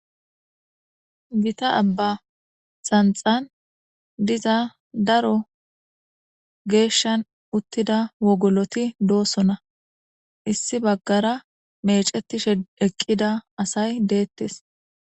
gita abba xanxan diza daro geeshshan uttida wogoloti doosona issi baggara mecetishe eqqida asay deettes